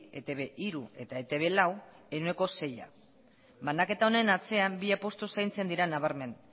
etb hiru eta etb lau ehuneko seia banaketa honen atzean bi apustu zaintzen dira nabarmen